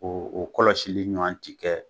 K'o o kɔlɔsili ɲɔan ci kɛ